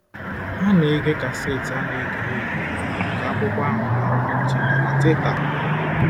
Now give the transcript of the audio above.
Ha na-ege kaseti a na-egere egere nke akwụkwọ ahụ na Ụlọ Nche na na Teta!